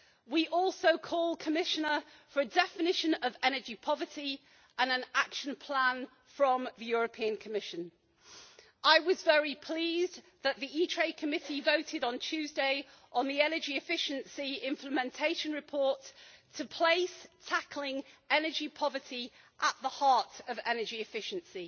We also call, Commissioner, for a definition of energy poverty and an Action Plan from the European Commission. I was very pleased that the Committee on Industry, Research and Energy voted on Tuesday, on the energy efficiency implementation report, to place tackling energy poverty at the heart of energy efficiency.